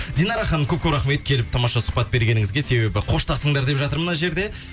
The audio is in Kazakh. динара ханым көп көп рахмет келіп тамаша сұхбат бергеніңізге себебі қоштасыңдар деп жатыр мына жерде